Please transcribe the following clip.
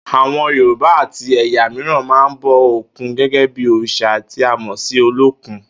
Àwo̩n Yorùbá àti è̩yà mìíràn máa ń bo̩ òkun gé̩gé̩ bí òrìs̩à tí a mò̩ sí Olókun